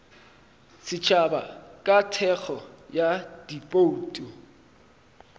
setšhaba ka thekgo ya dibouto